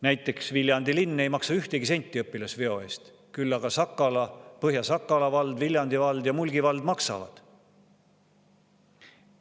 Näiteks Viljandi linn ei maksa ühtegi senti õpilasveo eest, küll aga Põhja-Sakala vald, Viljandi vald ja Mulgi vald maksavad.